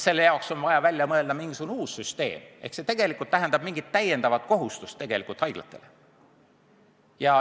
Selle jaoks on vaja välja mõelda mingisugune uus süsteem ja see tegelikult tähendab mingit täiendavat kohustust haiglatele.